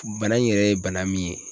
Bana in yɛrɛ ye bana min ye.